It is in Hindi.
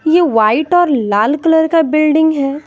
यह वाइट और लाल कलर का बिल्डिंग है।